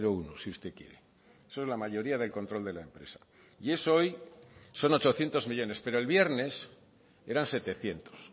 uno si usted quiere eso es la mayoría del control de la empresa y eso hoy son ochocientos millónes pero el viernes eran setecientos